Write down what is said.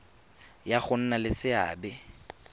ya go nna le seabe